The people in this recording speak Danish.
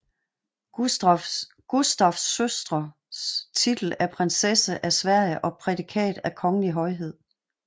Gustafs søstre titel af prinsesse af Sverige og prædikat af Kongelig Højhed